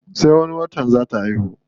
Sai wani watan zaa ta haihu.